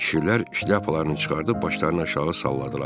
Kişilər şlyapalarını çıxarıb başlarını aşağı salladılar.